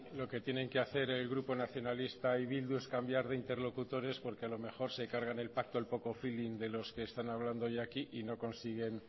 lo que tienen que hacer el grupo nacionalista y bildu es cambiar de interlocutores porque a lo mejor se cargan el pacto del poco feeling de los que están hablando hoy aquí y no consiguen